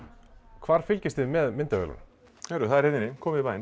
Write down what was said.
hvar fylgist þið með myndavélunum heyrðu það er hérna inni komið í bæinn